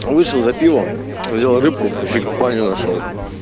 он вышел за пивом взяла рыбку ещё компанию нашёл